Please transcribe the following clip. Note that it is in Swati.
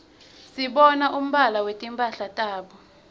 sibona umbala wetimphala tabo